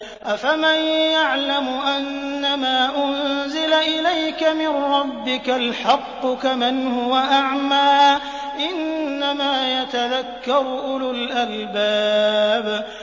۞ أَفَمَن يَعْلَمُ أَنَّمَا أُنزِلَ إِلَيْكَ مِن رَّبِّكَ الْحَقُّ كَمَنْ هُوَ أَعْمَىٰ ۚ إِنَّمَا يَتَذَكَّرُ أُولُو الْأَلْبَابِ